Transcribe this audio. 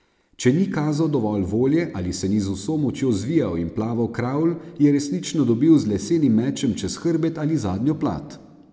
Če ni kazal dovolj volje ali se ni z vso močjo zvijal in plaval kravl, je resnično dobil z lesenim mečem čez hrbet ali zadnjo plat.